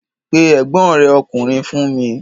Pe ẹ̀gbọ́n rẹ̀ ọkùnrin fún mi!